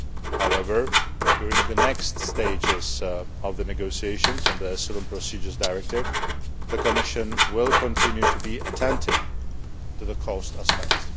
However, during the next stages of the negotiations on the Asylum Procedures Directive, the Commission will continue to be attentive to the cost aspects.